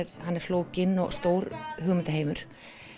hann er flókinn og stór hugmyndaheimur